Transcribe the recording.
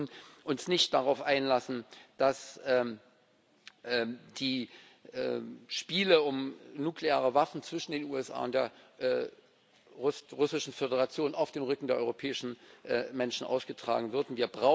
Wir sollten uns nicht darauf einlassen, dass die Spiele um nukleare Waffen zwischen den USA und der Russischen Föderation auf dem Rücken der europäischen Menschen ausgetragen werden.